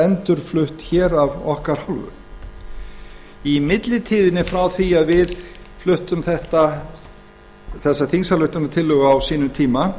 endurflutt af okkar hálfu í millitíðinni frá því að við fluttum þessa þingsályktunartillögu á sínum tíma